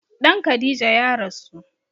Ɗan Khadija ya rasu